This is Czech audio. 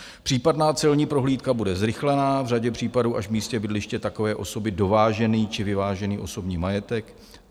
Případná celní prohlídka bude zrychlená, v řadě případů až v místě bydliště takové osoby - dovážený či vyvážený osobní majetek.